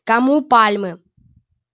кому пальмы